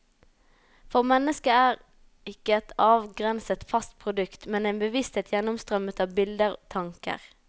For mennesket er ikke et avgrenset, fast produkt, men en bevissthet gjennomstrømmet av bilder, tanker.